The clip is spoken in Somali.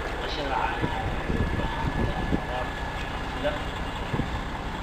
Dhaqashada caanaha waxay u baahan tahay waraab ku filan oo hufan.